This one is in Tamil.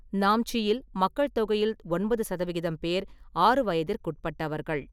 நாம்ச்சியில், மக்கள் தொகையில் ஒன்பது சதவிகிதம் பேர் ஆறு வயதிற்குட்பட்டவர்கள்.